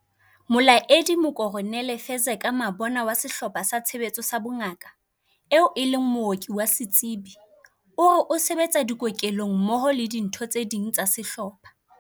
Molaedi Mokoronele Fezeka Mabona wa Sehlopha sa Tshebetso sa Bongaka, eo e leng mooki wa setsebi, o re o se betsa dikokelong mmoho le ditho tse ding tsa sehlopha.